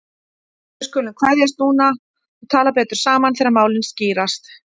En við skulum kveðjast núna og tala betur saman þegar málin skýrast.